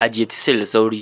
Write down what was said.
Ajiye "chisel" da sauri.